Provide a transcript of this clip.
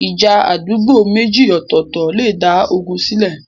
ìja àdúgbò méjì ọ̀tọ̀ọ̀tọ̀ lè dá ogun sílẹ̀.